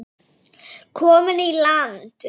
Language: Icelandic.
Komin í land.